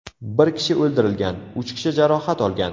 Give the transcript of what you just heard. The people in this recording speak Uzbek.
Bir kishi o‘ldirilgan, uch kishi jarohat olgan.